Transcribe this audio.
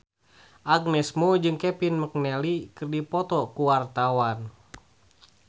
Agnes Mo jeung Kevin McNally keur dipoto ku wartawan